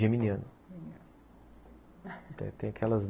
Geminiano. Geminiano é, tem aquelas